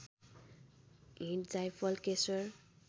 हिङ जाइफल केशर